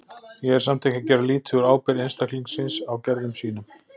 Ég er samt ekki að gera lítið úr ábyrgð einstaklingsins á gerðum sínum.